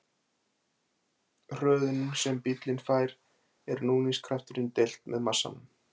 Hröðunin sem bíllinn fær er núningskrafturinn deilt með massanum.